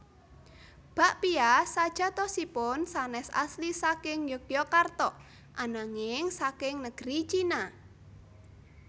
Bakpia sajatosipun sanés asli saking Yogyakarta ananging saking negeri China